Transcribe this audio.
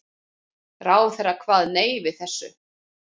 Ráðherra kvað nei við þessu.